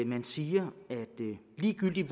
man siger at ligegyldigt